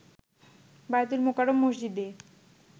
বায়তুল মোকাররম মসজিদে